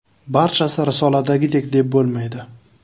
Barchasi risoladagidek deb bo‘lmaydi.